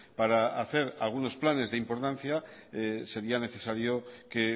para hacer algunos planes de importancia sería necesario que